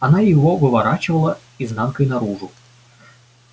она его выворачивала изнанкой наружу